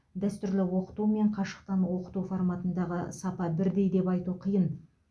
дәстүрлі оқыту мен қашықтан оқыту форматындағы сапа бірдей деп айту қиын